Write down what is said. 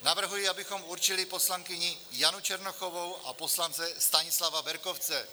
Navrhuji, abychom určili poslankyni Janu Černochovou a poslance Stanislava Berkovce.